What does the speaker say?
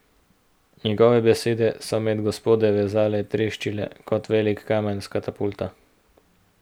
Njegove besede so med gospode vazale treščile kot velik kamen s katapulta.